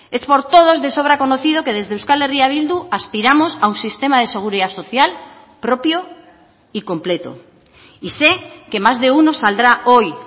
es por todos de sobra conocido que desde euskal herria bildu aspiramos a un sistema de seguridad social propio y completo y sé que más de uno saldrá hoy